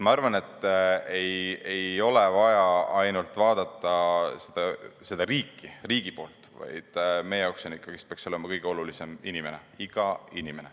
Ma arvan, et ei ole vaja ainult vaadata seda riiki, riigi poolt, vaid meie jaoks peaks olema ikkagi kõige olulisem inimene, iga inimene.